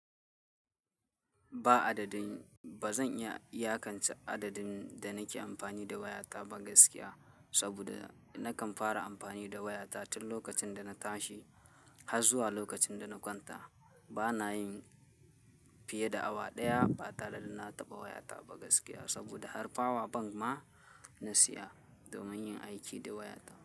Ba adadin, ba zan iya iyakance adadin da nake amfani da wayata ba gaskiya. Saboda nakan fara amfani da wayata tun lokacin da na tashi har zuwa lokacin da na kwanta. Bana yin fiye da awa ɗaya ba tare da na taɓa wayata ba gaskiya. Saboda har power bank ma na siya domin yin aiki da waya.